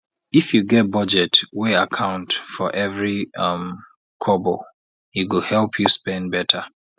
if you get budget wey account for every um kobo e go help you spend better